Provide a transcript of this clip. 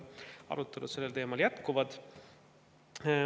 Arutelud sellel teemal jätkuvad.